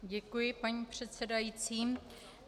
Děkuji, paní předsedající.